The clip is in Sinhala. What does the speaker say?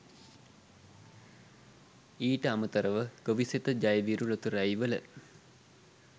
ඊට අමතරව ගොවිසෙත ජයවිරු ලොතරැුයි වල